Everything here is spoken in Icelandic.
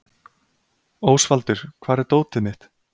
Ósvaldur, hvar er dótið mitt?